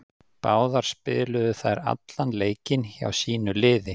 Báðar spiluðu þær allan leikinn hjá sínu liði.